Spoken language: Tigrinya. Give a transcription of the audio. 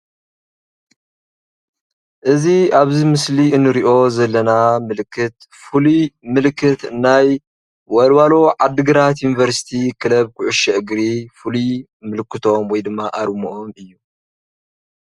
እዙይ ኣብ ምስሊ እንርእዮ ዘለና ምልክት ፍሉይ ምልክት ናይ ወልዋሎ ዓዲ ግራት ዩኒቨርሲቲ ክለብ ኩዕሶ እግሪ ፍሉይ ምልክቶም ወይ ድማ ኣርምኦም እዩ።